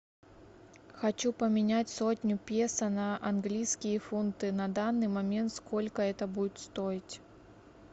хочу поменять сотню песо на английские фунты на данный момент сколько это будет стоить